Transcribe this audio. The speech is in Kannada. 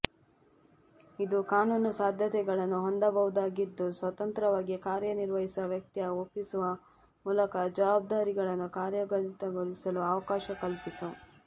ಇದು ಕಾನೂನು ಸಾಧ್ಯತೆಗಳನ್ನು ಹೊಂದಬಹುದಾಗಿದ್ದು ಸ್ವತಂತ್ರವಾಗಿ ಕಾರ್ಯನಿರ್ವಹಿಸುವ ವ್ಯಕ್ತಿಯ ಒಪ್ಪಿಸುವ ಮೂಲಕ ಜವಾಬ್ದಾರಿಗಳನ್ನು ಕಾರ್ಯಗತಗೊಳಿಸಲು ಅವಕಾಶ ಕಲ್ಪಿಸು